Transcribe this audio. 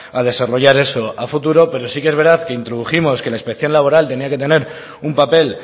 a desarrollar eso a futuro pero sí que es verdad que introdujimos que la inspección laboral tenía que tener un papel